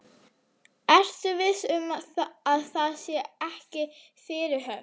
Ertu viss um að það sé ekki fyrirhöfn?